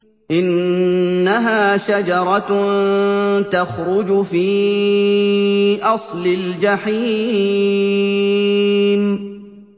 إِنَّهَا شَجَرَةٌ تَخْرُجُ فِي أَصْلِ الْجَحِيمِ